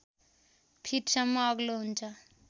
फिटसम्म अग्लो हुन्छ